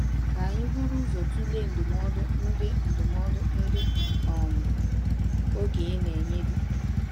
Ka anyị buru ụzọ tụlee ndụmọdụ ndị ndụmọdụ ndị um okenye na-enye di.